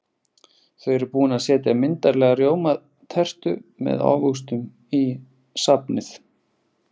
Þau eru búin að setja myndarlega rjómatertu með ávöxtum í safnið.